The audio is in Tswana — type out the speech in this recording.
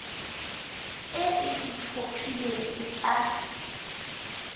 e e itlhophileng e tla